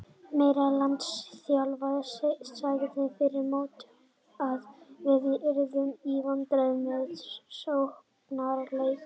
Meira að segja landsliðsþjálfarinn sagði fyrir mót að við yrðum í vandræðum með sóknarleikinn.